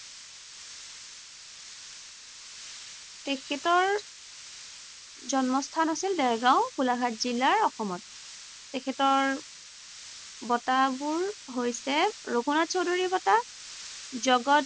তেখেতৰ জন্মস্থান আছিল দেৰগাঁও, গোলাঘাট জিলাৰ অসমত। তেখেতৰ বঁটাবোৰ হৈছে ৰঘুনাথ চৌধুৰী বঁটা। জগত